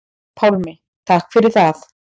Pálmi: Takk fyrir það.